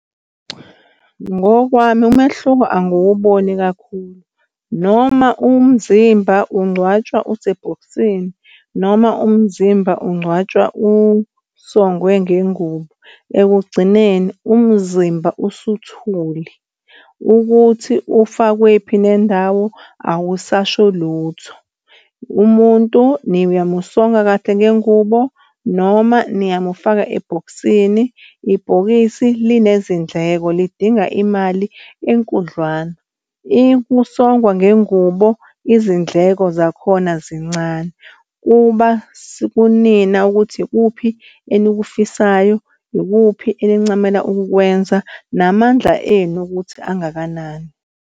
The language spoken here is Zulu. Ngokwami, umehluko angiwuboni kakhulu noma umzimba ungcwatshwa, usebhokisini noma umzimba ungcwatshwa usongwe ngengubo ekugcineni umzimba usuthule ukuthi ufakwephi nendawo awusasho lutho. Umuntu niyamusonga kahle ngengubo, noma niyamufaka ebhokisini. Ibhokisi linezindleko lidinga imali enkudlwana. Ikusongwa ngengubo izindleko zakhona zincane kuba kunina ukuthi ikuphi enikufisayo ikuphi enincamela ukukwenza namandla enu ukuthi angakanani.